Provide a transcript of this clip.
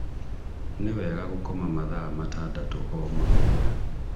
Nĩ wega gũkoma mathaa matandatũ O mũthenya